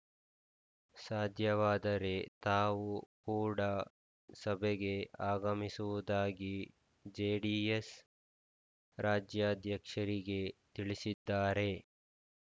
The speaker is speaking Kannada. ಸಾಧ್ಯವಾದರೆ ತಾವು ಕೂಡ ಸಭೆಗೆ ಆಗಮಿಸುವುದಾಗಿ ಜೆಡಿಎಸ್‌ ರಾಜ್ಯಾಧ್ಯಕ್ಷರಿಗೆ ತಿಳಿಸಿದ್ದಾರೆ